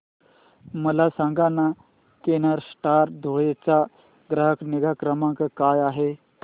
मला सांगाना केनस्टार धुळे चा ग्राहक निगा क्रमांक काय आहे